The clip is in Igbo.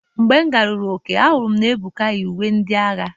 Mgbe ngaruru Ọka ahụrụ m na Ebuka yi uwe ndị agha.